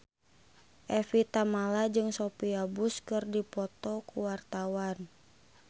Evie Tamala jeung Sophia Bush keur dipoto ku wartawan